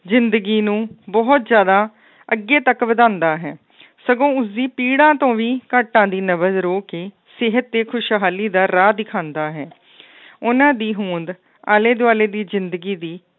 ਜ਼ਿੰਦਗੀ ਨੂੰ ਬਹੁਤ ਜ਼ਿਆਦਾ ਅੱਗੇ ਤੱਕ ਵਧਾਉਂਦਾ ਹੈ ਸਗੋਂ ਉਸਦੀ ਪੀੜ੍ਹਾ ਤੋਂ ਵੀ ਘਾਟਾਂ ਦੀ ਕੇ ਸਿਹਤ ਤੇ ਖੁਸ਼ਹਾਲੀ ਦਾ ਰਾਹ ਦਿਖਾਉਂਦਾ ਹੈ ਉਹਨਾਂ ਦੀ ਹੋਂਦ ਆਲੇ ਦੁਆਲੇ ਦੀ ਜ਼ਿੰਦਗੀ ਦੀ